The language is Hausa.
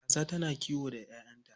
Kaza tana kiwo da 'ya'yanta.